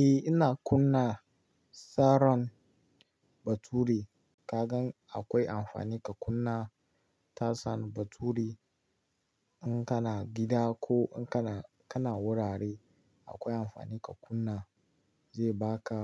Eh ina kunna tsaron baturi. Kagan akwai amfani ka kunna tashan bature in kana gida ko in kana, kana wurare akwai amfani ka kunna zai baka